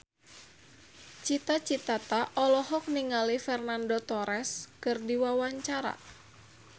Cita Citata olohok ningali Fernando Torres keur diwawancara